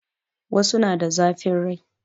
Wasu na da zafin rai